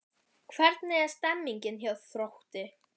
Hvernig er stemningin hjá Þrótti?